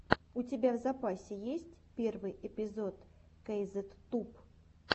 у тебя в запасе есть первый эпизод кейзет туб